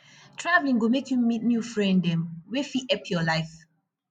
traveling go make you meet new friend dem wey fit help your life